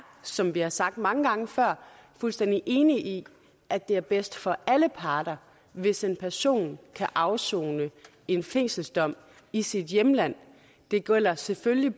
som vi har sagt det mange gange før fuldstændig enige i at det er bedst for alle parter hvis en person kan afsone en fængselsdom i sit hjemland det gælder selvfølgelig